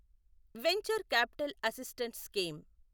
venture capital assistance scheme